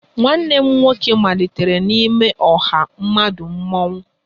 Nwanne m nwoke malitere n'ime ọha mmadụ mmọnwụ